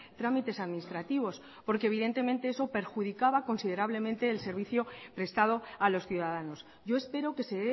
trámites administrativos porque evidentemente eso perjudicaba considerablemente el servicio prestado a los ciudadanos yo espero que se